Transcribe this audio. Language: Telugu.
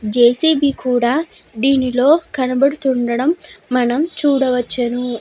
జె.సి.బి. కూడా దీనిలో కనపడుతూ ఉండడం మనం చూడవచ్చును.